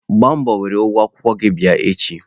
Gbaa mbọ were ụgwọ akwụkwọ gị bịa echi!